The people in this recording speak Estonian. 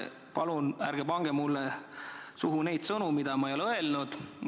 Palun ärge pange mulle suhu sõnu, mida ma ei ole öelnud.